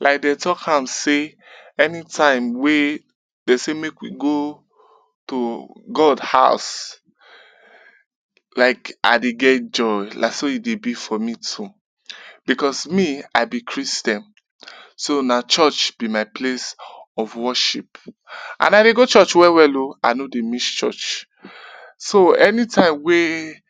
Like de talk am say anytime wey dem say make we go to God house like I dey get joy, na so e dey be for me too because me I be Christian so na church be my place of worship and I dey go church well well o, I no dey miss church. So anytime wey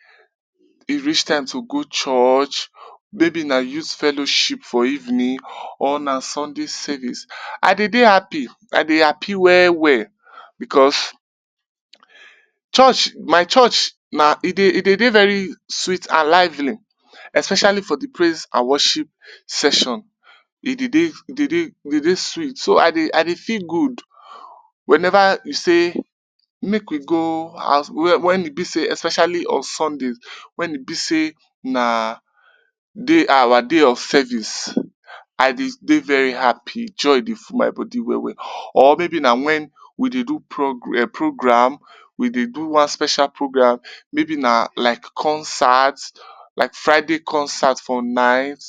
e reach time to go church or maybe na youth fellowship for evening or na Sunday service, I de dey happy, I dey happy well well because church my church na. e dey dey very sweet and lively especially for di praise and worship session. E dey dey e dey dey sweet, so I dey I dey feel good wen ever we saymake we go house wen e be sey especially on Sundays wen e be sey na day our day of service. Idey dey very happy, joy be full my body well well or maybe na wen we dey do pro program, we dey do one special program, maybe na like concert, like Friday concert for night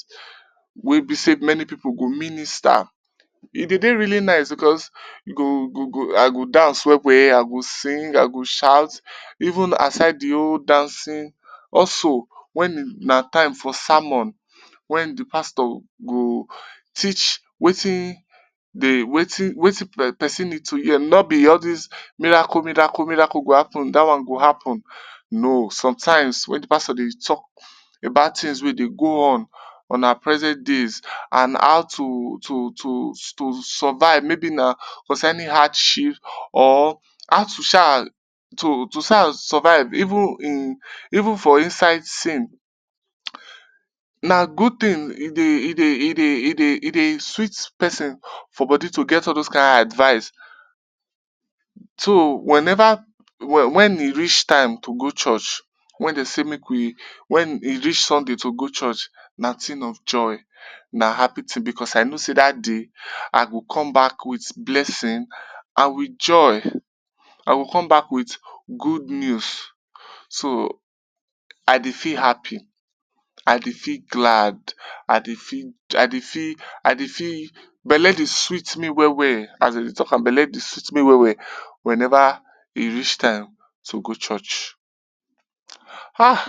wey be sey many pipu go minister. E dey dey really nice because e go go I go dance well well, I go sing, I go shout, even aside di whole dancing also wen na time for sermon, wen di pastor go teach watin dey watin watin pesin need to hear. No be all dis miracle, miracle, miracle go happen dat one go happen, no sometimes pastor dey talk about tins wey dey go on on our present days and how to to to survive maybe na concerning hardship or how to sha to to sha to survive even in even for inside sin. Na good tin, e dey, e dey, e dey, e dey, edey sweet pesin for body to get all dose kain advise, so wenever wen e reach time to go church, wen dem dey make we, wen e reach Sunday to go church na tin of joy, na happy tin because I know sey dat day I go come back wit blessing and wit joy. I go come back wit good news, so I dey feel happy, I dey feel glad, I dey feel, I dey feel, I dey feel, belle dey sweet me well well, as dem dey talk am belle dey sweet me well well wen ever e reach time to go church ah.